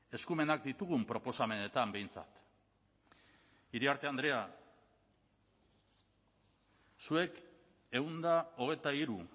eskumenak ditugun proposamenetan behintzat iriarte andrea zuek ehun eta hogeita hiru